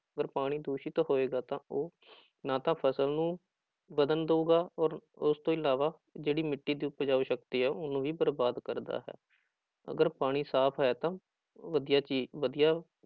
ਪਰ ਪਾਣੀ ਦੂਸ਼ਿਤ ਹੋਏਗਾ ਤਾਂ ਉਹ ਨਾ ਤਾਂ ਫ਼ਸਲ ਨੂੰ ਵਧਣ ਦਊਗਾ ਔਰ ਉਸ ਤੋਂ ਇਲਾਵਾ ਜਿਹੜੀ ਮਿੱਟੀ ਦੀ ਉਪਜਾਊ ਸ਼ਕਤੀ ਹੈ ਉਹਨੂੰ ਵੀ ਬਰਬਾਦ ਕਰਦਾ ਹੈ, ਅਗਰ ਪਾਣੀ ਸਾਫ਼ ਹੈ ਤਾਂ ਵਧੀਆ ਚੀ ਵਧੀਆ